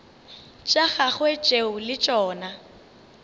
tša gagwe tšeo le tšona